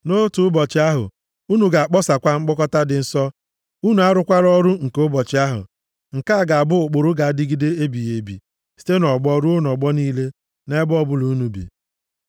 Nʼotu ụbọchị ahụ unu ga-akpọsakwa mkpọkọta dị nsọ, unu arụkwala ọrụ nke ụbọchị ahụ. Nke a ga-abụ ụkpụrụ ga-adịgide ebighị ebi site nʼọgbọ ruo nʼọgbọ niile, nʼebe ọbụla unu bi.